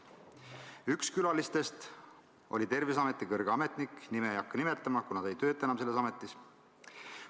Üks külalistest oli Terviseameti kõrge ametnik, nime ei hakka nimetama, kuna ta ei tööta enam selles ametis.